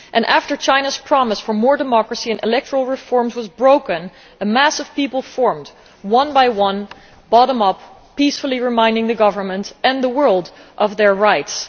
After China's promise for more democracy and electoral reforms was broken, a mass of people formed, one by one, bottom up, peacefully reminding the government and the world of their rights.